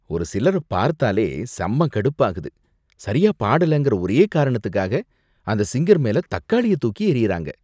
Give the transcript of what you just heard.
ஒரு சிலர பார்த்தாலே செம்ம கடுப்பாகுது. சரியா பாடலங்கற ஒரே காரணத்துக்காக அந்த சிங்கர் மேல தக்காளிய தூக்கி எறியுறாங்க.